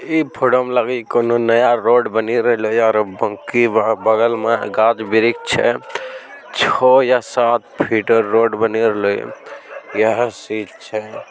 इ फोटो मे लगी कोनों नया रोड बाकी बगल मे गाछ वृक्ष छै छ या सात फिट रोड ---